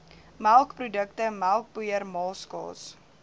melkprodukte melkpoeier maaskaas